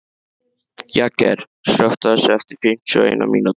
Jagger, slökktu á þessu eftir fimmtíu og eina mínútur.